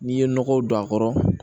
N'i ye nɔgɔw don a kɔrɔ